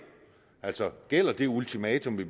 altså gælder det ultimatum vi